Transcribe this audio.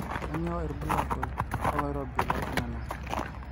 kanyio irbulabu oo loirobi loo iltunganak